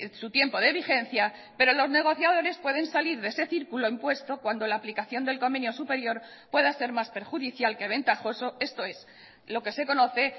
su tiempo de vigencia pero los negociadores pueden salir de ese círculo impuesto cuando la aplicación del convenio superior pueda ser más perjudicial que ventajoso esto es lo que se conoce